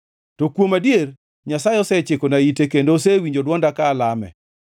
to kuom adier, Nyasaye osechikona ite kendo osewinjo dwonda ka alame.